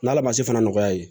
N'ala ma se fana nɔgɔya ye